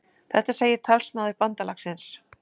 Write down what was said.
Þetta segir talsmaður bandalagsins